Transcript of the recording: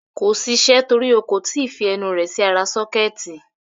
Kò ṣiṣẹ́ torí o kò tí ì fi ẹnu rẹ̀ sí ara sọ́kẹ́ẹ̀tì.